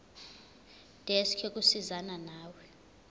desk yokusizana nawe